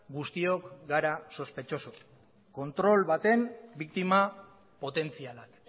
guztiok gara sospetxoso kontrol baten biktima potentzialak